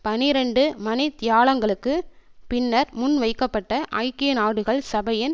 பனிரண்டு மணி தியாலங்களுக்கு பின்னர் முன்வைக்கப்பட்ட ஐக்கிய நாடுகள் சபையின்